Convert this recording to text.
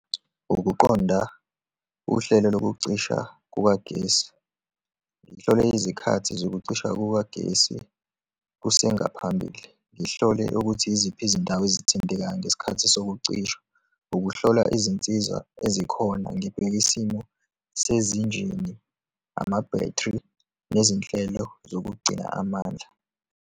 Ukuqonda uhlelo lokucisha kukagesi, ngihlole izikhathi zokucisha kukagesi kusengaphambili, ngihlole ukuthi yiziphi izindawo ezithintekayo ngesikhathi sokucishwa, ukuhlola izinsiza ezikhona, ngibheka isimo sezinjini, ama-battery nezinhlelo zokugcina amandla.